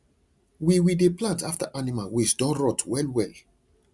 we we dey plant after animal waste don rot well well